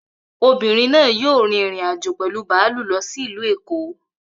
Obìnrin náà yóò rin ìrìn-àjò pẹ̀lu bààlù lọ sí Ìlu èkó